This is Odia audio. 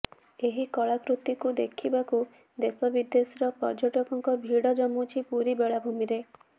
ଏହି କଳାକୃତିକୁ ଦେଖିବାକୁ ଦେଶବିଦେଶର ପର୍ଯ୍ୟଟକଙ୍କ ଭିଡ ଜମୁଛି ପୁରୀ ବେଳାଭୂମିରେ